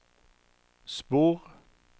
spor